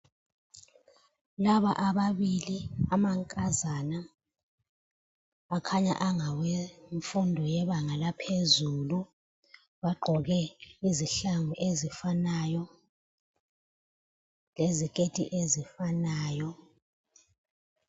Laba ababili amankazana, akhanya angawemfundo yebanga laphezulu bagqoke izihlangu ezifanayo leziketi ezifanayo.